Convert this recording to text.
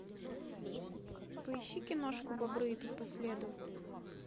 поищи киношку бобры идут по следу